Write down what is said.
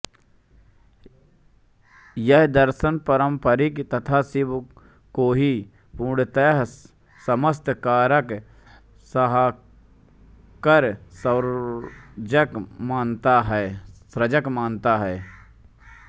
यह दर्शन पारम्परिक तथा शिव को ही पूर्णतया समस्त कारक संहारक सर्जक मानता है